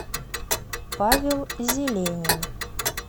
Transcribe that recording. павел зеленин